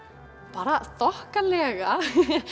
bara þokkalega